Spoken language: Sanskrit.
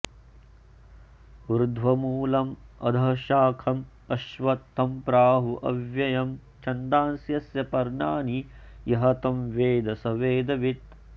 ऊर्ध्वमूलम् अधःशाखम् अश्वत्थं प्राहुः अव्ययम् छन्दांसि यस्य पर्णानि यः तं वेद सः वेदवित्